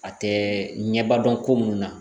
A tɛ ɲɛba dɔn ko munnu na